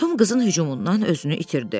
Tom qızın hücumundan özünü itirdi.